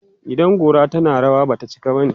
idan gora tana rawa, Bata cika bane